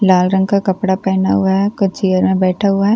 लाल रंग का कपड़ा पहना हुआ है कुछ चेयर में बैठा हुआ है।